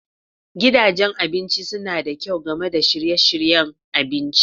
Gidajen abinci suna da kyau Game da shirye-shiryen abinci.